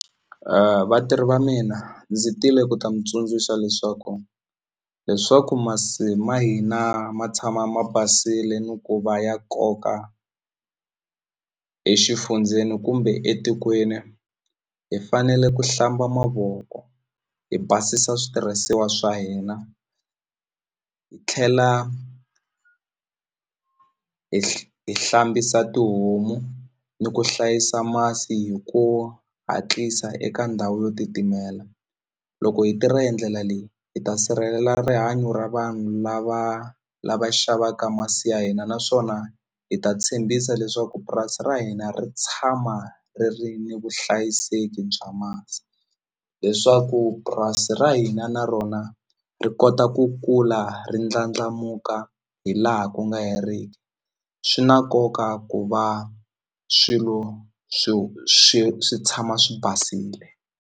Vatirhi va mina ndzi tile ku ta mi tsundzuxa leswaku leswaku masi ma hina ma tshama ma basile ni ku va ya koka exifundzeni kumbe etikweni hi fanele ku hlamba mavoko hi basisa switirhisiwa swa hina hi tlhela hi hi hlambisa tihomu ni ku hlayisa masi hi ku hatlisa eka ndhawu yo titimela loko hi tirha hi ndlela leyi hi ta sirhelela rihanyo ra vanhu lava lava xavaka masi ya hina naswona hi ta tshembisa leswaku purasi ra hina ri tshama ri ri ni vuhlayiseki bya masi leswaku purasi ra hina na rona ri kota ku kula ri ndlandlamuka hi laha ku nga heriki swi na nkoka ku va swilo swi swi swi tshama swi basile.